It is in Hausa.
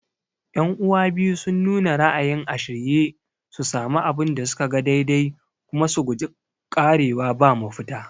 Yan'uwa biyu sun nuna ra'ayin a shirye su sami abin da suka ga daidai kuma su guji ƙarewa ba mafita